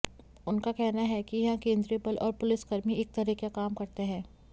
उनका कहना है कि यहां केंद्रीय बल और पुलिसकर्मी एक तरह का काम करते हैं